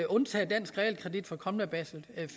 undtage dansk realkredit for kommende basel